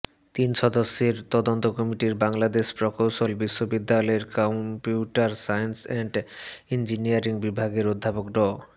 তিন সদস্যের তদন্ত কমিটিতে বাংলাদেশ প্রকৌশল বিশ্ববিদ্যালয়ের কম্পিউটার সায়েন্স অ্যান্ড ইঞ্জিনিয়ারিং বিভাগের অধ্যাপক ড